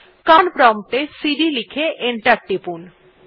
command prompt এ cd লিখে করে এন্টার টিপুন